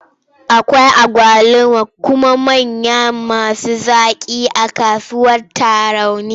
Akwai agwaluma manya kuma masu zaƙi a kasuwar Tarauni.